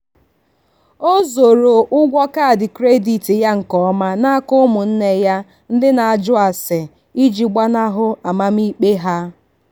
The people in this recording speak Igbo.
o zoro ụgwọ kaadị kredit ya nke ọma n'aka ụmụnne ya ndị na-ajụ ase iji gbanahụ amamikpe ha.